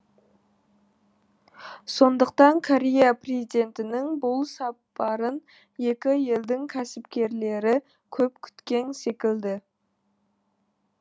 сондықтан корея президентінің бұл сапарын екі елдің кәсіпкерлері көп күткен секілді